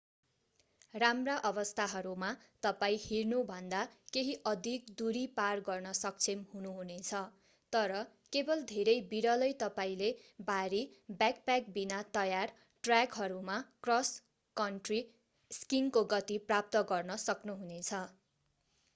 राम्रा अवस्थाहरूमा तपाईं हिँड्नुभन्दा केही अधिक दूरी पार गर्न सक्षम हुनुहुनेछ तर केवल धेरै बिरलै तपाईंले भारी ब्याकप्याक बिना तयार ट्र्याकहरूमा क्रस कन्ट्री स्कीइङको गति प्राप्त गर्न सक्नुहुनेछ